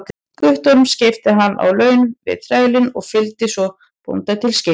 Guttorms, keypti hann á laun við þrælinn og fylgdi svo bónda til skips.